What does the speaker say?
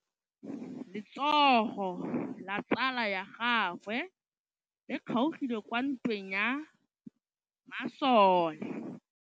Letsôgô la tsala ya gagwe le kgaogile kwa ntweng ya masole.